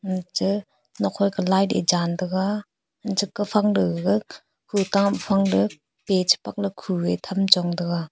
ache nokphai ka light e cham taiga anche kafang te gaga kutam fangde page pangla khue chong tham taiga.